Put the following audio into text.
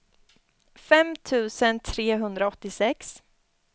fem tusen trehundraåttiosex